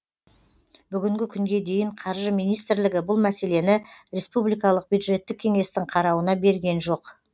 бүгінгі күнге дейін қаржы министрлігі бұл мәселені республикалық бюджеттік кеңестің қарауына берген жоқ